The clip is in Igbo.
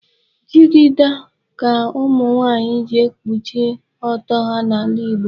Jigida ka ụmụnwaanyị ji ekpuchi ọtọ ha n'ala Igbo.